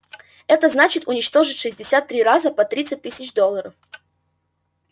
это значит уничтожить шестьдесят три раза по тридцать тысяч долларов